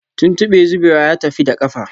Tuntube zubewa ya tafi da kafa